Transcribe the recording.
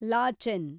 Lachen